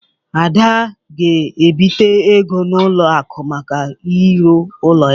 Ada ga-ebite ego n'ụlọ akụ maka irụ ụlọ ya.